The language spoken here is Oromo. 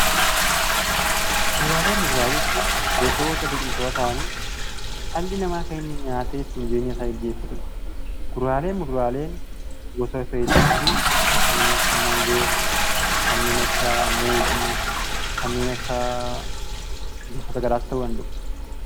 Kuduraalee fi muduraalee jechuun gosoota biqiltootaa ta'anii dhalli namaa kan inni nyaatee ittiin jireenya isaa ittiin gaggeeffatudha. Kuduraalee fi muduraaleen gosoota hedduutu jiru: Kanneen akka maangoo, kanneen akka muuzii, kanneen akka gosoota gara garaas ta'uu danda'u.